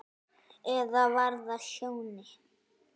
Eða var það Sjóni?